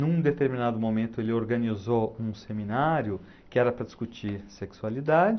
Num determinado momento ele organizou um seminário que era para discutir sexualidade,